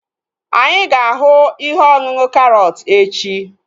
Anyị ga-ahu ihe ọṅụṅụ karọt echi